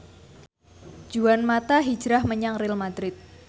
Juan mata hijrah menyang Real madrid